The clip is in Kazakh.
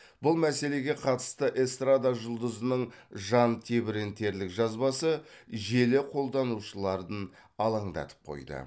бұл мәселеге қатысты эстрада жұлдызының жантебірентерлік жазбасы желі қолданушыларын алаңдатып қойды